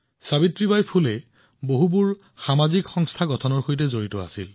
সাবিত্ৰীবাই ফুলেজী বহুতো সামাজিক প্ৰতিষ্ঠান সৃষ্টিত এক বৃহৎ ভূমিকা পালন কৰিছিল